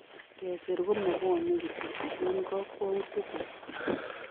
Kesir ko mabwoni kityo ipu kakwoutikuk